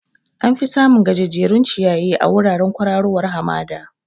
Am fi samun gajejjerun ciyayi a wuraren kwararowar hamada